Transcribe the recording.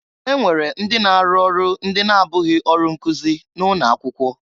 E nwere ndị na-arụ ọrụ ndị na-abụghị ọrụ nkụzị na ụnọ akwụkwọ.